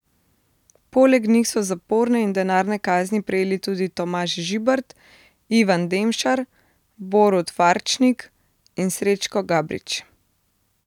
Poleg njih so zaporne in denarne kazni prejeli tudi Tomaž Žibert, Ivan Demšar, Borut Farčnik in Srečko Gabrič.